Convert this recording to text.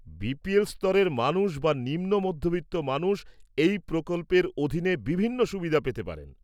BPL স্তরের মানুষ বা নিম্ন মধ্যবিত্ত মানুষ এই প্রকল্পের অধীনে বিভিন্ন সুবিধা পেতে পারেন।